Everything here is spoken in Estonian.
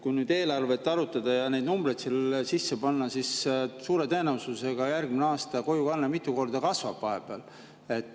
Kui nüüd eelarvet arutada ja neid numbreid sinna sisse panna, siis suure tõenäosusega järgmine aasta kojukande mitu korda kasvab.